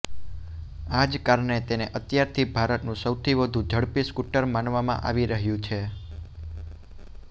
આ જ કારણે તેને અત્યારથી ભારતનું સૌથી વધુ ઝડપી સ્કૂટર માનવામાં આવી રહ્યું છે